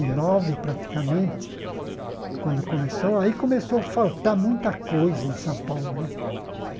E nove, praticamente, quando começou, aí começou a faltar muita coisa em São Paulo né.